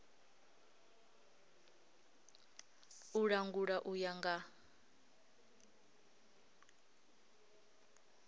u langula u ya nga